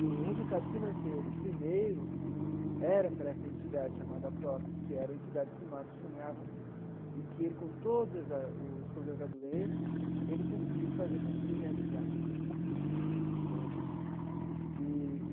E o resultado financeiro, primeiro, era para essa entidade chamada Aprofe, que era a entidade que o Marcos sonhava, e que ele, com todos a os problemas da doença, ele conseguiu fazer, conseguiu realizar né eee.